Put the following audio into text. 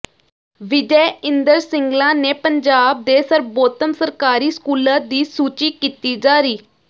ਵਿਜੈ ਇੰਦਰ ਸਿੰਗਲਾ ਨੇ ਪੰਜਾਬ ਦੇ ਸਰਬੋਤਮ ਸਰਕਾਰੀ ਸਕੂਲਾਂ ਦੀ ਸੂਚੀ ਕੀਤੀ ਜਾਰੀ